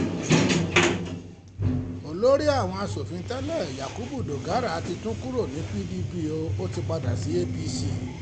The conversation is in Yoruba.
olórí àwọn asòfin tẹ́lẹ̀ yakubu dogara ti tún kúrò nínú pdp ó ti padà sí apc